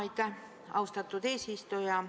Aitäh, austatud eesistuja!